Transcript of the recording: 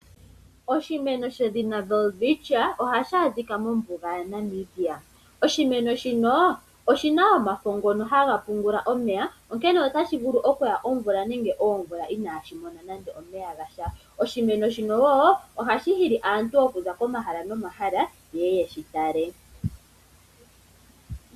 Oshimeno shedhina Welwitschia ohashi adhika mombuga yaNamibia. Oshimeno shino, oshina omafo ngono haga pungula omeya, onkene otashi vulu oku ya omvula nenge oomvula inaashi mona nande omeya gasha. Oshimeno shino wo ohashi hili aantu okuza komahala nomahala yeye yeshi tale.